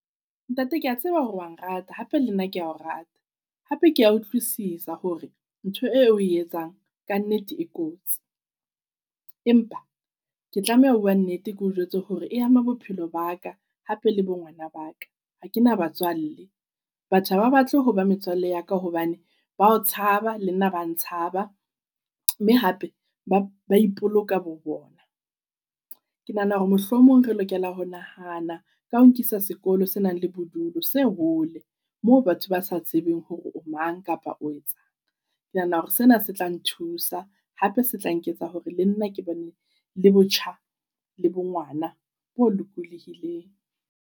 Ntate kea tseba hore wa nrata hape, le nna kea o rata. Hape kea utlwisisa hore ntho e oe etsang kannete e kotsi. Empa ke tlameha ho bua nnete keo jwetse hore e ama bophelo ba ka hape le bo ngwana ba ka. Ha ke na batswalle. Batho ha ba batle ho ba metswalle ya ka hobane ba o tshaba le nna ba ntshaba. Mme hape ba ba ipoloka bo bona. Ke nahana hore mohlomong re lokela ho nahana ka ho nkisa sekolo se nang le bodulo se hole moo batho ba sa tsebeng hore o mang kapa o etsang. Ke nahana hore sena se tla nthusa. Hape se tla nketsa hore le nna ke bane le botjha le bo ngwana bo lokolohileng.